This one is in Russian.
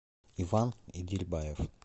иван идильбаев